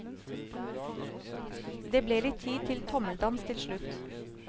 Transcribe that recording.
Det ble tid til litt tommeldans til slutt.